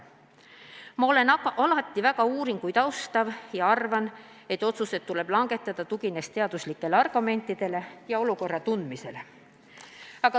Ma olen alati väga austanud uuringuid ja arvan, et otsused tuleb langetada, tuginedes teaduslikele argumentidele ja olukorra tundmisele.